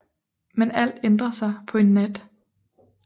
Men alt ændrer sig på en nat